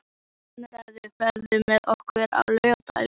Konráð, ferð þú með okkur á laugardaginn?